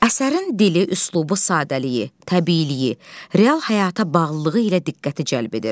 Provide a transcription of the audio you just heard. Əsərin dili, üslubu, sadəliyi, təbiiliyi, real həyata bağlılığı ilə diqqəti cəlb edir.